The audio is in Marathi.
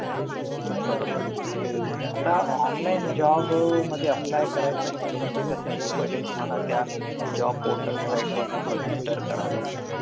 बरोबर आता online job apply म्हटलं म्हणजे कसं आहे कि पहिले तुम्हाला त्या job portal site वर जावून register